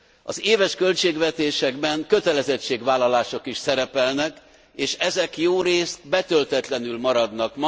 Az éves költségvetésekben kötelezettségvállalások is szerepelnek, és ezek jórészt betöltetlenül maradnak.